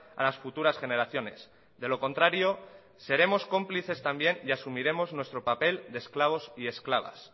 a las futuras generaciones de lo contrario seremos cómplices también y asumiremos nuestro papel de esclavos y esclavas